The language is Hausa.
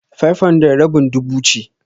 500 rabin dubu ce.